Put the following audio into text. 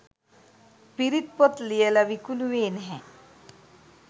පිරිත් පොත් ලියල විකුණුවේ නැහැ.